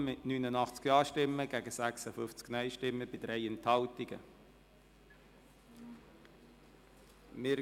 Sie haben dem Gesetz mit 89 Ja- gegen 56 Nein-Stimmen bei 3 Enthaltungen zugestimmt.